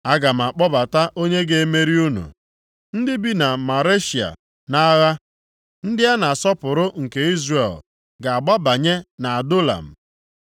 Aga m akpọbata onye ga-emeri unu ndị bi na Maresha nʼagha. Ndị a na-asọpụrụ nke Izrel ga-agbabanye nʼAdulam.